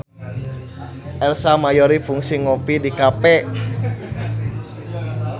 Ersa Mayori kungsi ngopi di cafe